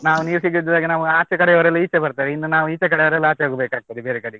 ನಾವು ನೀರು ಸಿಗದಿದ್ದಾಗ ನಾವು ಆಚೆ ಕಡೆಯವರೆಲ್ಲ ಈಚೆ ಬರ್ತಾರೆ, ಇನ್ನು ನಾವು ಈಚೆ ಕಡೆಯವರೆಲ್ಲ ಆಚೆ ಹೋಗ್ಬೇಕಾಗ್ತದೆ ಬೇರೆ ಕಡೆಗೆ.